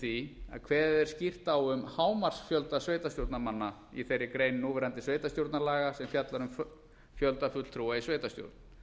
því að kveðið er skýrt á um hámarksfjölda sveitarstjórnarmanna í þeirri grein núverandi sveitarstjórnarmanna sem fjallar um fjölda fulltrúa í sveitarstjórn